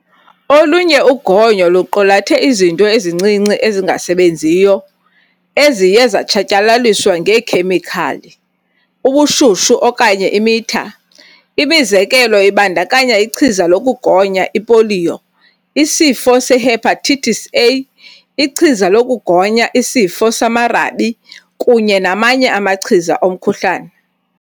Olunye ugonyo luqulathe izinto ezincinci ezingasebenziyo eziye zatshatyalaliswa ngeekhemikhali, ubushushu, okanye imitha. Imizekelo ibandakanya ichiza lokugonya ipoliyo, isifo se-hepatitis A, ichiza lokugonya isifo samarabi kunye namanye amachiza omkhuhlane.